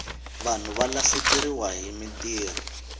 vanhu va lahlekeriwahi mintirho